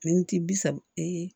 Miniti bi saba ee